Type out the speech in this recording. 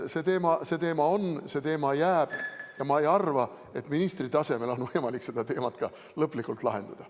See teema on, see teema jääb ja ma ei arva, et ministri tasemel oleks võimalik seda lõplikult lahendada.